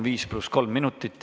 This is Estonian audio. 5 + 3 minutit.